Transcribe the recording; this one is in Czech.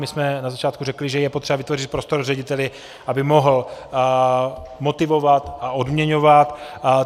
My jsme na začátku řekli, že je potřeba vytvořit prostor řediteli, aby mohl motivovat a odměňovat.